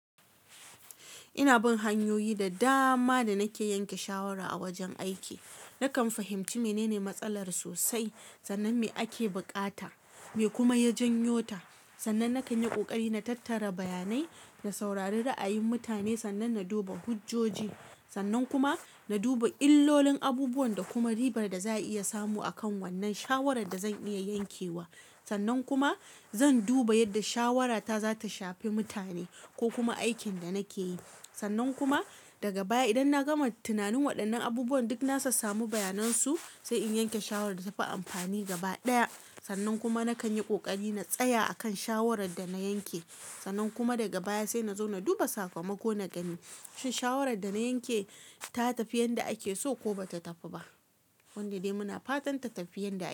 Ina bin hanyoyi da dama da nake yanke shawara a wajen aiki. Nakan fahimci menene matsalar sosai, sannan me ake buƙata me kuma ya janyo ta sannan nakan yi kokari na tattara bayanai, na saurari ra'ayin mutane, sannan na duba hujjoji. Sannan kuma na duba illolin abubuwan da kuma ribar da za'a iya samu akan wannan shawarar da zan iya yankewa. Sannan kuma zan duba yadda shawarata za ta shafi mutane ko kuma aikin da nake yi. Sannan kuma daga baya idan na gama tunanin waɗannan abubuwan duk na sassamu bayanan su, sai in yanke shawara da tafi amfani gaba ɗaya. Sannan kuma nakan yi kokari na tsaya akan shawarar da na yanke, sannan kuma daga baya sai nazo na duba sakamako na gani, shin shawarar da na yanke ta tafi yanda ake so? Ko ba ta tafi ba, wanda dai muna fatan ta tafi yanda ake.